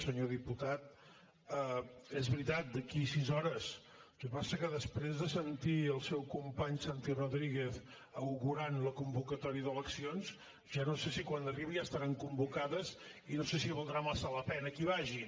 senyor diputat és veritat d’aquí a sis hores el que passa que després de sentir el seu company santi rodríguez augurant la convocatòria d’eleccions ja no sé si quan arribi ja estaran convocades i no sé si valdrà massa la pena que hi vagi